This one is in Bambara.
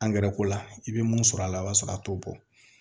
ko la i bɛ mun sɔrɔ a la o b'a sɔrɔ a t'o bɔ